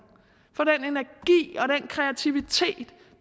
kreativitet